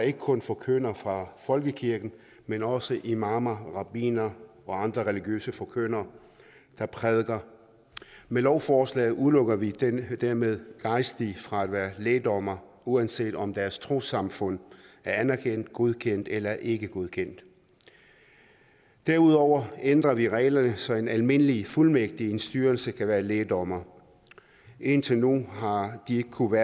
ikke kun forkyndere fra folkekirken men også imamer rabbinere og andre religiøse forkyndere der prædiker med lovforslaget udelukker vi dermed gejstlige fra at være lægdommere uanset om deres trossamfund er anerkendt godkendt eller ikke godkendt derudover ændrer vi reglerne så en almindelig fuldmægtig i en styrelse kan være lægdommer indtil nu har de ikke kunnet